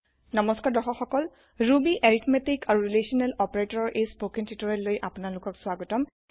নমস্কাৰ দৰ্শক সকল ৰুবিৰ এৰিথমেতিক আৰু ৰিলেচনেল অপাৰেটৰৰ এই স্পোকেন টিউটোৰিয়েললৈ আপোনালোকক স্বাগতম